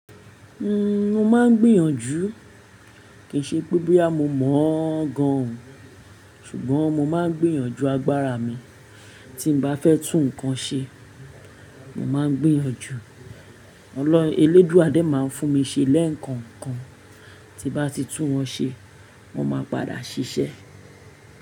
Uhm, mo máa ń gbìyànjú. Kìí ṣe pé boyà mo mọ̀ ọ́n gan-an o, ṣùgbọ́n mo máa ń gbìyànjú agbára mi. Tí n bá fẹ́ tún nǹkan ṣe, mo máa ń gbìyànjú. Ọlọ́-elédùa dé máa ń fún mi ṣe lẹ́ẹ̀kookan, tí n bá ti tún wọn ṣe, wọn máa n padà ṣiṣẹ́.